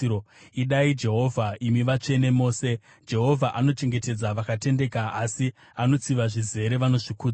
Idai Jehovha, imi vatsvene mose! Jehovha anochengetedza vakatendeka, asi anotsiva zvizere vanozvikudza.